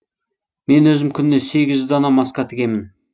мен өзім күніне сегіз дана маска тігемін